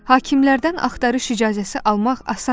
Hakimlərdən axtarış icazəsi almaq asan idi.